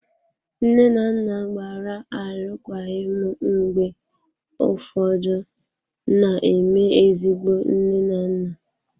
Nne na nna gbara alụkwaghịm mgbe ụfọdụ na-eme ezigbo nne na nna.